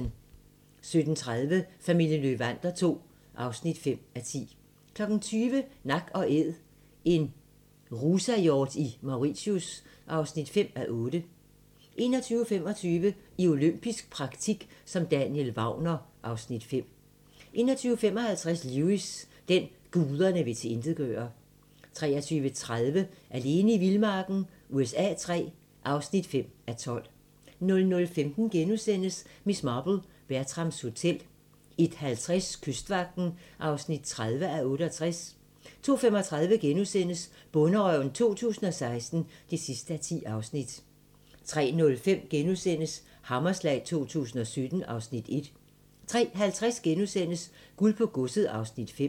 17:30: Familien Löwander II (5:10) 20:00: Nak & Æd - en rusahjort i Mauritius (5:8) 21:25: I olympisk praktik som Daniel Wagner (Afs. 5) 21:55: Lewis: Den, guderne vil tilintetgøre 23:30: Alene i vildmarken USA III (3:12) 00:15: Miss Marple: Bertrams Hotel * 01:50: Kystvagten (30:68) 02:35: Bonderøven 2016 (10:10)* 03:05: Hammerslag 2017 (Afs. 1)* 03:50: Guld på godset (Afs. 5)*